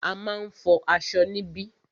A máà ń fọ aṣọ níbí.